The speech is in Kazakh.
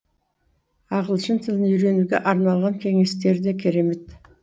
ағылшын тілін үйренуге арналған кеңестері де керемет